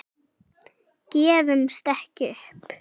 Gefumst ekki upp.